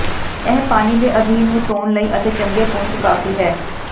ਇਹ ਪਾਣੀ ਦੇ ਅਧੀਨ ਨੂੰ ਧੋਣ ਲਈ ਅਤੇ ਚੰਗੇ ਪੂੰਝ ਕਾਫ਼ੀ ਹੈ